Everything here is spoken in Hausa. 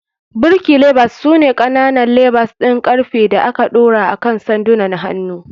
Birki levers su ne ƙananan levers ɗin ƙarfe da aka ɗora akan sandunan hannu.